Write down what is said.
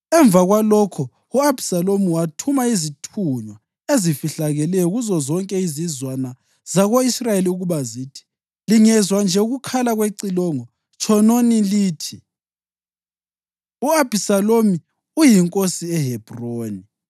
Emva kwalokho u-Abhisalomu wathuma izithunywa ezifihlakeleyo kuzozonke izizwana zako-Israyeli ukuba zithi, “Lingezwa nje ukukhala kwecilongo, tshonini lithi, ‘U-Abhisalomu uyinkosi eHebhroni!’ ”